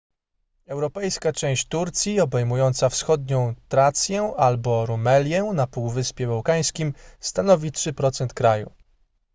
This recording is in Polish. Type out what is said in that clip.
europejska część turcji obejmująca wschodnią trację albo rumelię na półwyspie bałkańskim stanowi 3% kraju